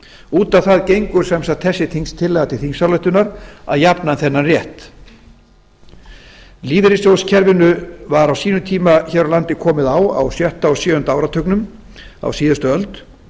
út á það gengur sem sagt þessi tillaga til þingsályktunar að jafna þennan rétt lífeyrissjóðakerfinu var á sínum tíma hér á landi komið á á sjötta og sjöunda áratugnum á síðustu öld